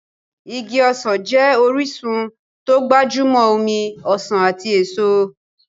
Igi ọsàn jẹ́ orísun tó gbajúmọ̀ omi ọsàn ati èso.